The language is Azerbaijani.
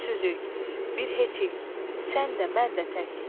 Gücsüzük, bir heçik, sən də, mən də tək.